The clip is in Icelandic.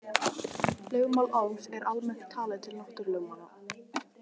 Lögmál Ohms er almennt talið til náttúrulögmála.